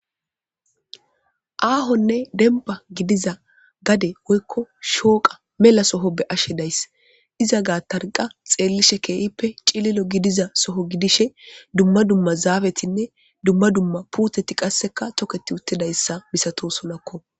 Aahonne denba gidiza gade woykko shooqa mela soho be ashe days iza gaa tarqa xeellishe keehippe cililo gidiza soho gidishe dumma dumma zaabetinne dumma dumma puuteti qasseka toketi uttidayssa misato solakko